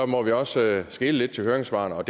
må vi også skele lidt til høringssvarene og